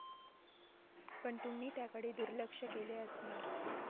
पण तुम्ही त्याकडे दुर्लक्ष केले असणार.